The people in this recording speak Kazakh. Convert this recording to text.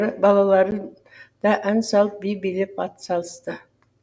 балалары да ән салып би билеп атсалысты